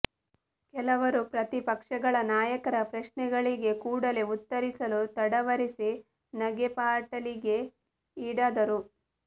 ಕೆಲವರು ಪ್ರತಿಪಕ್ಷಗಳ ನಾಯಕರ ಪ್ರಶ್ನೆಗಳಿಗೆ ಕೂಡಲೇ ಉತ್ತರಿಸಲು ತಡವರಿಸಿ ನಗೆಪಾಟಲಿಗೆ ಈಡಾದರು